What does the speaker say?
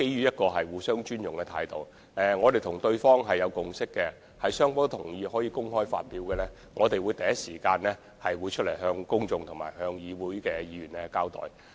不過，基於互相尊重，我們跟對方已有共識，就雙方均同意可以公開發表的安排，我們會第一時間向公眾和議會作出交代。